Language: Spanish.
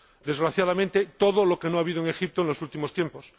desgraciadamente, todo lo que no ha habido en Egipto en los últimos tiempos.